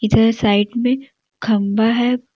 इधर साइड में खंभा है।